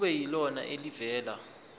kube yilona elivela